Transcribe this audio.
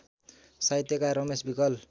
साहित्यकार रमेश विकल